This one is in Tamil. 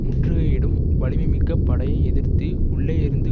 முற்றுகையிடும் வலிமைமிக்க படையை எதிர்த்து உள்ளேயிருந்து